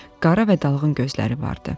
Qara və dalğın gözləri vardı.